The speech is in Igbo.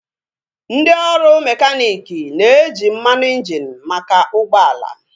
Ndị ọrụ mekaniiki na-eji mmanụ injini maka ụgbọala